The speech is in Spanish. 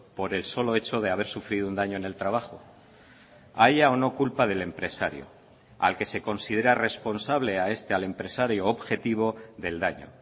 por el solo hecho de haber sufrido un daño en el trabajo haya o no culpa del empresario al que se considera responsable a este al empresario objetivo del daño